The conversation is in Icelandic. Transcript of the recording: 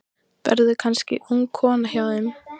Verður kannski ung kona hjá þeim.